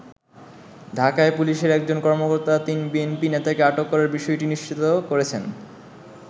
ঢাকায় পুলিশের একজন কর্মকর্তা তিন বিএনপি নেতাকে আটক করার বিষয়টি নিশ্চিত করেছেন।